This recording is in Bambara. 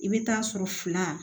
I bɛ taa sɔrɔ fila